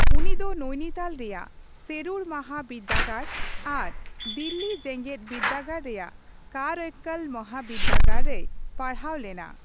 ᱩᱱᱤ ᱫᱚ ᱱᱚᱭᱱᱤᱛᱟᱞ ᱨᱮᱭᱟᱜ ᱥᱮᱨᱩᱰ ᱢᱟᱦᱟ ᱵᱤᱨᱫᱟᱹᱜᱟᱲ ᱟᱨ ᱫᱤᱞᱞᱤ ᱡᱮᱜᱮᱛ ᱵᱤᱨᱫᱟᱹᱜᱟᱲ ᱨᱮᱭᱟᱜ ᱠᱟᱨᱟᱭᱠᱟᱞ ᱢᱚᱦᱟᱵᱤᱨᱫᱟᱹᱜᱟᱲ ᱨᱮᱭ ᱯᱟᱲᱦᱟᱣ ᱞᱮᱱᱟ ᱾